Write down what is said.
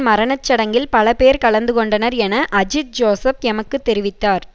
மரண சடங்கில் பலபேர் கலந்துகொண்டனர் என அஜித் ஜோசப் எமக்குத் தெரிவித்தார்